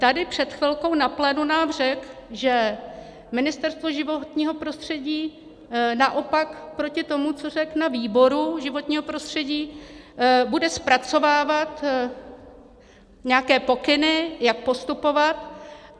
Tady před chvilkou na plénu nám řekl, že Ministerstvo životního prostředí naopak proti tomu, co řekl na výboru životního prostředí, bude zpracovávat nějaké pokyny, jak postupovat.